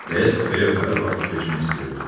Rəis kupəyə ötəri baxıb keçmək istəyirdi.